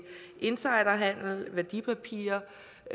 insiderhandel og værdipapirer